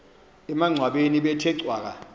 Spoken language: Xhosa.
emangcwabeni bethe cwaka